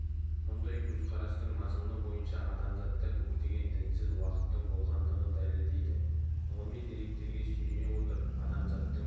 мұндай көзқарастың мазмұны бойынша адамзатта көптеген дінсіз уақыттың болғандығын дәлелдейді ғылыми деректерге сүйене отырып адамзаттың